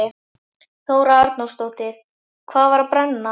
Þóra Arnórsdóttir: Hvað var að brenna?